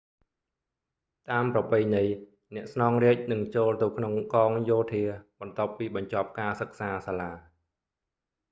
តាមប្រពៃណី អ្នកស្នងរាជនឹងចូលទៅក្នុងកងយោធាបន្ទាប់ពីបញ្ចប់ការសិក្សាសាលា